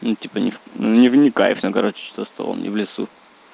ну типа ни не ни в кайф ну короче за столом не в лесу